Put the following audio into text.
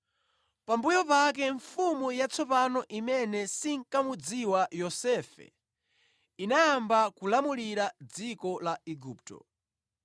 Pambuyo pake mfumu yatsopano imene sinkamudziwa Yosefe, inayamba kulamulira dziko la Igupto.